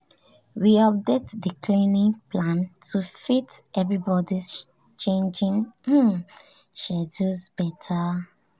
we update the cleaning plan to fit everybody's changing um schedules better.